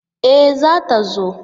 E! za ta zo.